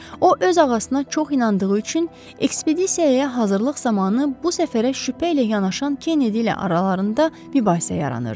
O öz ağasına çox inandığı üçün ekspedisiyaya hazırlıq zamanı bu səfərə şübhə ilə yanaşan Kennedy ilə aralarında mübahisə yaranırdı.